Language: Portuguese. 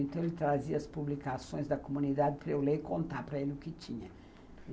Então, ele trazia as publicações da comunidade para eu ler e contar para ele o que tinha.